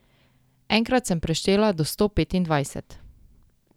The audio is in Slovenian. Enkrat sem preštela do sto petindvajset.